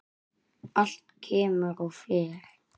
Allt kemur og fer.